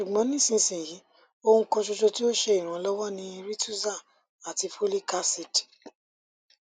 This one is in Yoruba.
ṣugbọn nisisiyi ohun kan ṣoṣo ti o ṣe iranlọwọ ni rituxan ati folic acid